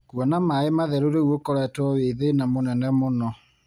Kuona maĩ matheru rĩu ũkoretwo wĩ thĩna mũnene mũno.